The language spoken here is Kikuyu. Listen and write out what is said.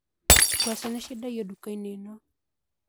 Ngwacĩ nĩciendagio ndukainĩ ĩno